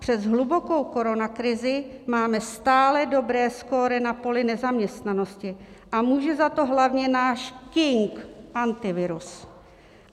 Přes hlubokou koronakrizi máme stále dobré skóre na poli nezaměstnanosti a může za to hlavně náš king Antivirus."